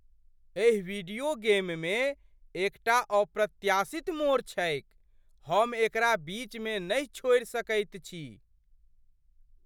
एहि वीडियो गेममे एकटा अप्रत्याशित मोड़ छैक, हम एकरा बीचमे नहि छोड़ि सकैत छी।